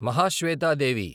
Mahasweta Devi